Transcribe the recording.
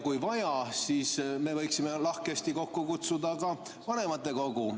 Kui vaja, siis me võiksime lahkesti kokku kutsuda ka vanematekogu.